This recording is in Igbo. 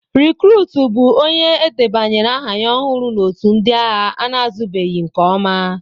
Rịkrut bụ onye e debanyere aha ya ọhụrụ na otù ndị agha ana-azụbeghị nke ọma.